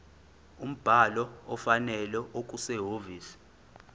umbhalo ofanele okusehhovisi